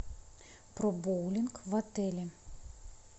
про боулинг в отеле